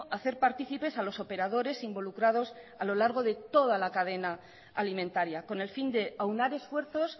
hacer partícipes a los operadores involucrados a lo largo de toda la cadena alimentaria con el fin de aunar esfuerzos